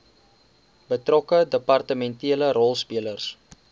betrokke departementele rolspelers